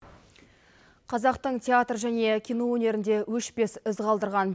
қазақтың театр және кино өнерінде өшпес із қалдырған